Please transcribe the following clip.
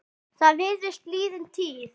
Það virðist liðin tíð.